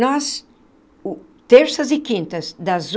Nós, o terças e quintas, das